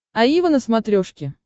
аива на смотрешке